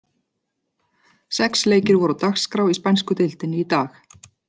Sex leikir voru á dagskrá í spænsku deildinni í dag.